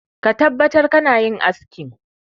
Ka tabbatar kana yin askin!